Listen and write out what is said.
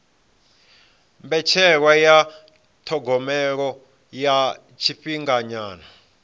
mbetshelwa ya thogomelo ya tshifhinganyana